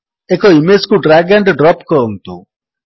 ଏକ ଇମେଜ୍ କୁ drag and drop କରନ୍ତୁ